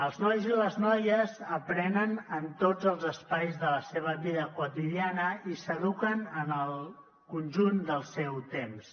els nois i les noies aprenen en tots els espais de la seva vida quotidiana i s’eduquen en el conjunt del seu temps